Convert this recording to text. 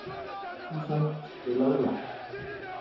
Susan, spilaðu lag.